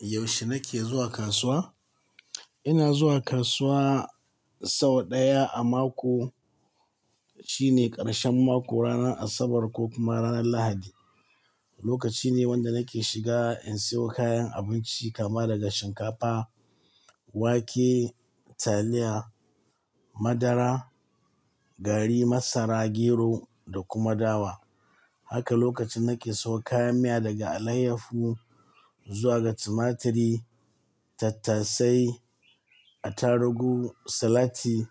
Yaushe nake zuwa kasuwa? Ina zuwa kasuwa sau ɗaya a mako, shine ƙarshen mako, ranar Asabar ko kuma ranar Lahadi. Lokaci ne wanda nake shiga in sayo kayan abinci kama daga shinkafa, wake, taliya, madara, gari, masara, gero da kuma dawa. Haka lokacin nake sayo kayan miya daga alayyafu zuwa ga timatiri, tattasai, atarugu, salati,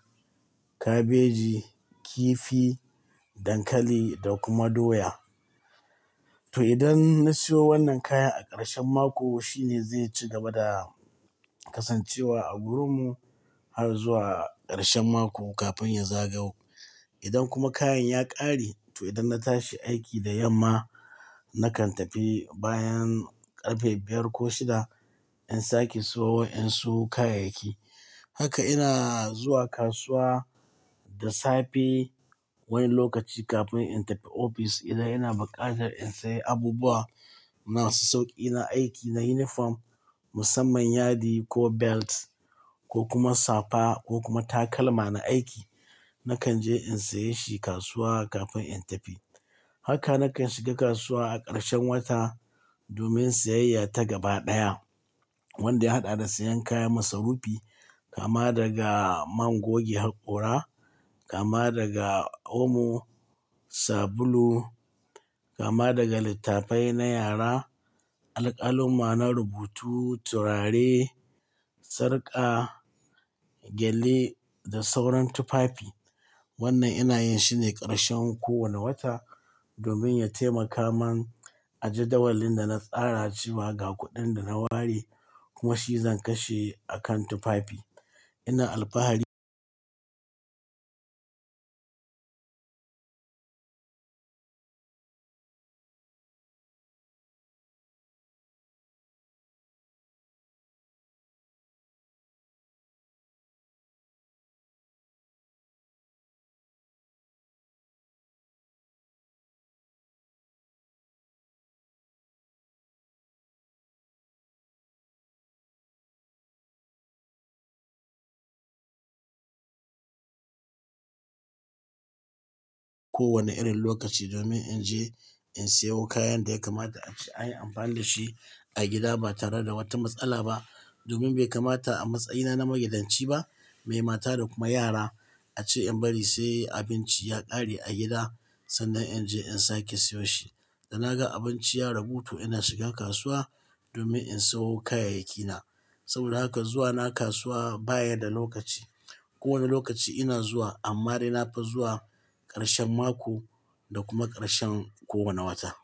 kabeji, kifi, dankali da kuma doya. To idan na siyo wannan kayan a ƙarshen mako shine zai ci gaba da kasancewa a gurin mu har zuwa ƙarshen mako kafin ya zagau. Idan kuma kayan ya ƙare to idan na tashi aiki da yamma nakan tafi bayan ƙarfe biyar ko shida in sake siyo wa ƴan su kayayyaki. Haka ina zuwa kasuwa da safe wani lokaci kafin in tafi ofis. Idan ina buƙatar in sayi abubuwa masu sauƙi na aiki na yunifom musamman yadi ko belt ko kuma safa ko kuma takalma na aiki nakan je in sayi shi kasuwa kafin in tafi. Haka nakan shiga kasuwa a ƙarshen wata domin siyayya ta gaba ɗaya wanda ya haɗa da sayan kaya masu rufi kama daga man goge haƙora, kama daga omo, sabulu, kama daga littafai na yara, alƙalama na rubutu, turare, sarƙa, gyale da sauran tufafi. Wannan ina yin shine ƙarshen kowane wata domin ya taimaka man a jadawalin da na tsaracewa ga kuɗin da na ware kuma shi zan kashe a kan tufafi. Ina alfahari kowane irin lokaci domin in je in sayo kayan da ya kamata a yi amfani da shi a gida ba tare da wata matsala ba. Domin bai kamata a matsayina na magidanci ba, mai mata da kuma yara a ce in bari sai abinci ya ƙare a gida sannan in je in sake siyo shi. Da naga abinci ya ragu to ina shigan kasuwa domin in sayo kayayyaki na. Saboda haka zuwa na kasuwa baya da lokaci. Ko wane lokaci ina zuwa amma dai na fi zuwa ƙarshen mako da kuma ƙarshen kowane wata.